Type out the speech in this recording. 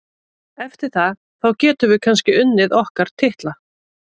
Eftir það, þá getum við kannski unnið okkar titla.